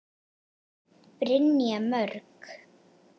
Brynja: Mörg?